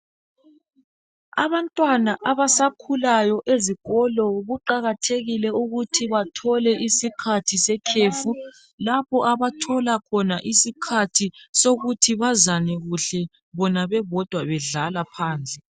Abantwana abasakhulayo ezikolo kuqakathekile ukuthi bathole isikhathi sekhefu lapho abathola khona isikhathi sokuthi bazane kuhle bona bebodwa bedlala phandle